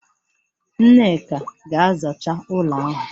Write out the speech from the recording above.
Nneka ga-azacha ụlọ ahụ!